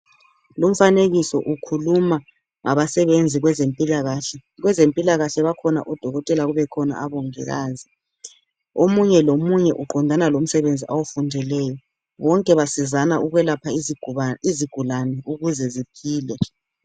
Lumfanekiso ukhuluma ngabasenze kwezempilakahle, kwezempilakahle bakhona odokotela kubekhona abomogikazi, omunye lomunye uqondana lomsebenzi awufundeleyo, bonke basizana ukwelapha izigulani ukuze ziphile.